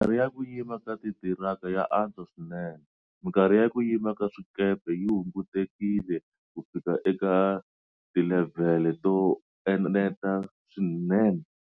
Mikarhi ya ku yima ka titiraka ya antswa swinene. Mikarhi ya ku yima ka swikepe yi hungutekile kufika eka tilevhele to eneta swinene.